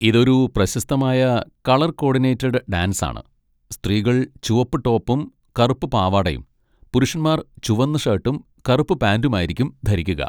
ഇതൊരു പ്രശസ്തമായ colour coordinated dance ആണ്, സ്ത്രീകൾ ചുവപ്പ് ടോപ്പും കറുപ്പ് പാവാടയും പുരുഷന്മാർ ചുവന്ന ഷർട്ടും കറുപ്പ് പാന്റും ആയിരിക്കും ധരിക്കുക.